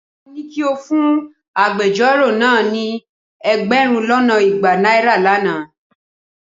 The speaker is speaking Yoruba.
Mo ní kí o fún agbejọ́rò náà ní ẹgbẹ̀rún lọ́nà igba náírà lánàá.